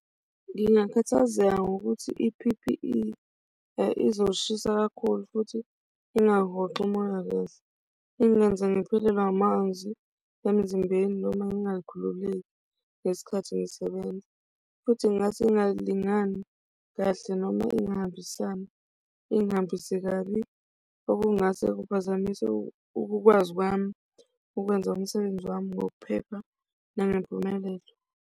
Ngingakhathazeka ngokuthi I-P_P_E izoshisa kakhulu futhi ingahoxi umoya kahle ingenze ngiphelelwe amazwi emzimbeni noma ngingakhululeki ngesikhathi ngisebenza futhi ngingase ingalingani kahle noma engahambisani ingihambise kabi okungase kuphazamise ukukwazi kwami ukwenza umsebenzi wami ngokuphepha nangempumelelo.